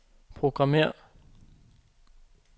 programmér